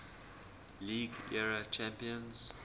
league era champions